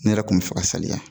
Ne yɛrɛ kun bɛ fɛ ka saliya